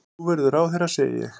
Þú verður ráðherra, segi ég.